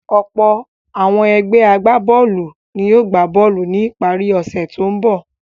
Ọ̀pọ̀ àwọn ẹgbẹ́ agbá-bọ́ọ́lù ni yóò gbá bọ́ọ́lù ní ìparí ọ̀sẹ̀ tó ń bọ̀.